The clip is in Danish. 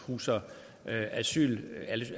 huser